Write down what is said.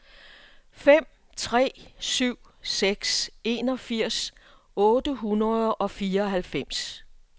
fem tre syv seks enogfirs otte hundrede og fireoghalvfems